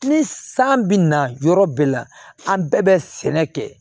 Ni san bɛ na yɔrɔ bɛɛ la an bɛɛ bɛ sɛnɛ kɛ